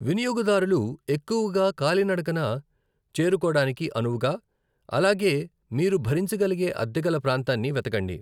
వినియోగదారులు ఎక్కువగా కాలినడకన చేరుకోడానికి అనువుగా, అలాగే మీరు భరించగలిగే అద్దె గల ప్రాంతాన్ని వెతకండి.